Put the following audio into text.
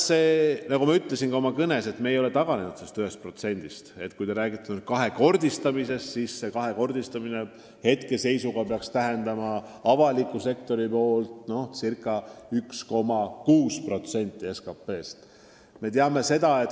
Nagu ma ütlesin oma kõnes, me ei ole taganenud eesmärgiks seatud 1%-st, aga kui te räägite finantseeringu kahekordistamisest, siis see peaks tähendama avaliku sektori panust ca 1,6% SKT-st.